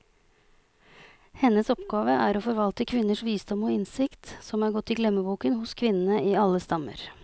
Hennes oppgave er å forvalte kvinners visdom og innsikt, som er gått i glemmeboken hos kvinnene i alle stammer.